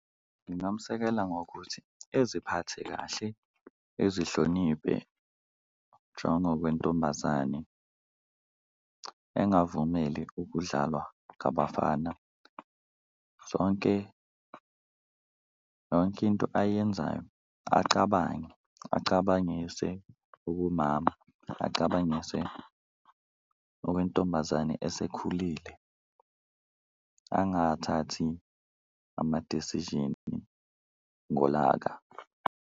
Ngingamsekela ngokuthi eziphathe kahle, ezihloniphe njengokwentombazane, engavumeli ukudlalwa ngabafana, zonke yonke into ayenzayo acabange acabangise okomama, acabangise okwentombazane esekhulile, angathathi ama-decision ngolaka.